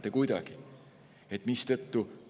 Me ju ei mõõda seda mitte kuidagi.